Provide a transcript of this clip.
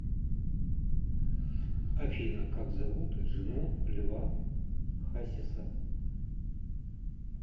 афина как зовут жену льва хасиса